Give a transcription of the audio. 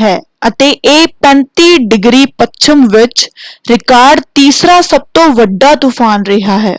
ਹੈ ਅਤੇ ਇਹ 35° ਪੱਛਮ ਵਿੱਚ ਰਿਕਾਰਡ ਤੀਸਰਾ ਸਭ ਤੋਂ ਵੱਡਾ ਤੂਫਾਨ ਰਿਹਾ ਹੈ।